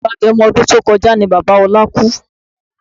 Oṣù agẹmo ọdún tí ó kọjá ni Bàbá ọlá kú